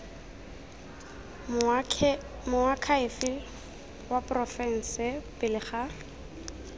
moakhaefe wa porofense pele ga